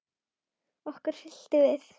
Okkur hryllti við.